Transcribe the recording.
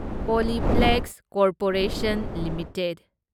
Polyplex corporation limited